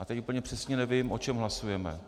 A teď úplně přesně nevím, o čem hlasujeme.